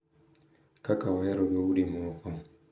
Kaka ohero dhoudi moko.